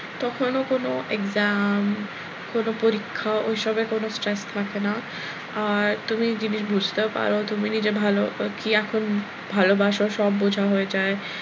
তখনও কোনো exam কোনো পরিক্ষা ওইসবের কোনো stress থাকে না আর তুমি জিনিস বুঝতেও পারো, তুমি নিজে ভালো কি এখন ভালোবাসো, সব বোঝা হয়ে যায়,